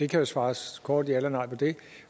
kan jo svares kort ja eller nej til det